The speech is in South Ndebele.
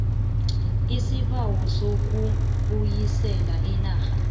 isibawo sokubuyisela imali